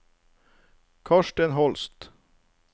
Karsten Holst